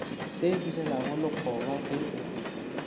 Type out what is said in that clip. se direlago lekgoba ge o